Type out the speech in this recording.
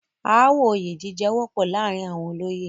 ááwọ̀ oyè jíjẹ wọ́pọ̀ láàrin àwọn olóyè.